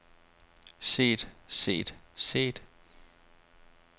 set set set